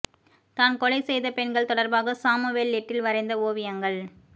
தான் கொலை செய்த பெண்கள் தொடர்பாக சாமுவேல் லிட்டில் வரைந்த ஓவியங்கள்